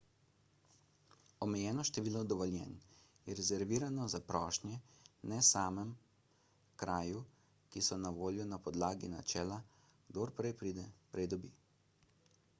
omejeno število dovoljenj je rezervirano za prošnje na samem kraju ki so na voljo na podlagi načela »kdor prej pride prej dobi«